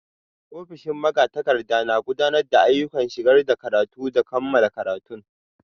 Ofishin magatakarda na gudanar da ayyukan shigar da karatu da kammala karatun.